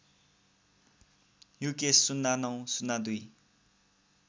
Yukesh ०९ ०२